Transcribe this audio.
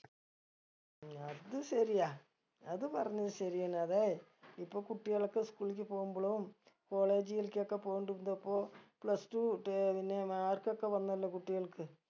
ഉം അത് ശരിയാ അത് പറഞ്ഞത് ശരിയന്നെ അതെ ഇപ്പൊ കുട്ടികളൊക്കെ school ഇക്ക് പോകുമ്പളും college കൾകൊക്കെ പോകിണ്ട് ഇതപ്പോ plus two ട്ടെ പിന്നെ mark ഒക്കെ വന്നല്ലോ കുട്ടികൾക്ക്